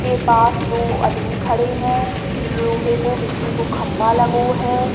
के पास दो अदमी खड़े हैं। लोहे को बिजली को खम्बा लगो है।